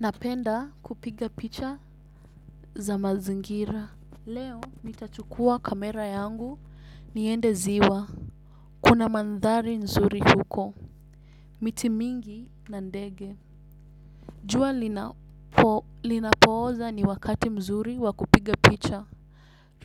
Napenda kupiga picha za mazingira. Leo nitachukua kamera yangu niende ziwa. Kuna mandhari nzuri huko. Miti mingi nandege. Jua linapo linapooza ni wakati mzuri wakupiga picha.